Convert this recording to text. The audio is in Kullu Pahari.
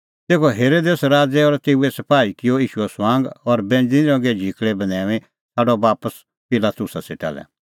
तेखअ हेरोदेस राज़ै और तेऊए सपाही किअ ईशूओ ठठअ और बैंज़णीं रंगे झिकल़ै बन्हैऊंईं छ़ाडअ बापस पिलातुसा सेटा लै